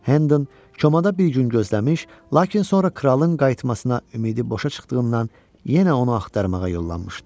Hendon komada bir gün gözləmiş, lakin sonra kralın qayıtmasına ümidi boşa çıxdığından yenə onu axtarmağa yollanmışdı.